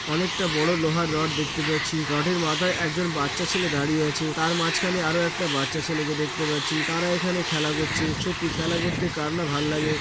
অনেকটা বড়ো লোহার রড দেখতে পাচ্ছি। রডের মাথায় একজন বাচ্চা ছেলে দাঁড়িয়ে আছে। তার মাঝখানে আরও একটা বাচ্চা ছেলেকে দেখতে পাচ্ছি। তারা এখানে খেলা করছে। সত্যি খেলা করতে কার না ভাললাগে।